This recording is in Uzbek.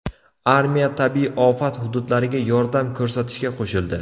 Armiya tabiiy ofat hududlariga yordam ko‘rsatishga qo‘shildi.